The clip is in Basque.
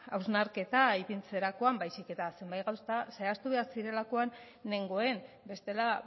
hausnarketa ipintzerakoan baizik eta zenbait gauza zehaztu behar zirelakoan nengoen bestela